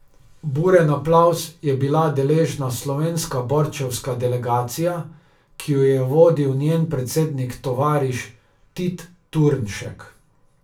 Buren aplavz je bila deležna slovenska borčevska delegacija, ki jo je vodil njen predsednik tovariš Tit Turnšek.